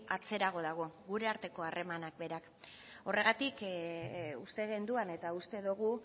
atzerago dago gure arteko harremanak berak horregatik uste genuen eta uste dugu